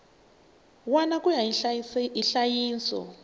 wana ku ya hi nhlayiso